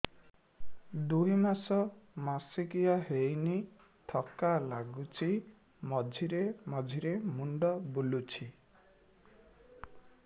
ଦୁଇ ମାସ ମାସିକିଆ ହେଇନି ଥକା ଲାଗୁଚି ମଝିରେ ମଝିରେ ମୁଣ୍ଡ ବୁଲୁଛି